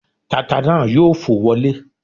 Tata náà yóò fò wọlẹ́